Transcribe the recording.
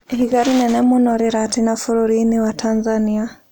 Ihiga rĩnene mũno rĩratina bũrũri-inĩ wa Tanzania